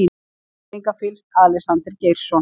Virðingarfyllst, Alexander Geirsson.